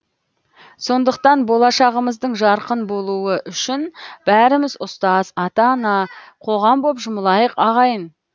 сондықтан болашағымыздың жарқын болуы үшін бәріміз ұстаз ата ана қоғам боп жұмылайық ағайын